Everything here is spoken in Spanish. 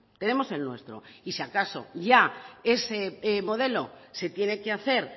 tenemos el nuestro y si acaso ya ese modelo se tiene que hacer